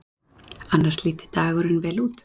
Annars líti dagurinn vel út